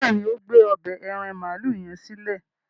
béèni o gbé ọbẹ́ aràn maalu yen silẹ.